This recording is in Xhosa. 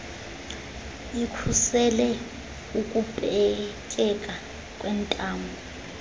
ikhusele ukupetyeka kwentamo